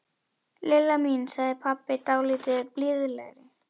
Lilla mín sagði pabbi dálítið blíðlegri.